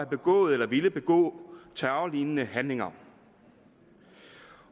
begået eller ville begå terrorlignende handlinger